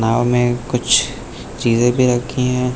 नाव में कुछ चीजें भी रखी हैं।